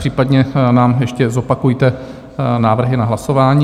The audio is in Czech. Případně nám ještě zopakujte návrhy na hlasování.